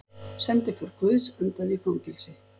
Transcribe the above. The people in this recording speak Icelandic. Sendiför guðs endaði í fangelsi